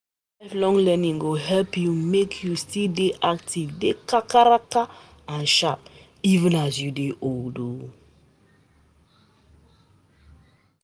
Lifelong learning go help u make u still dey active dey kakaraka and sharp, even as u dey old oo